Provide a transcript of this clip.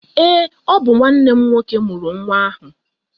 Ee, ọ bụ nne m murụ nwa ahụ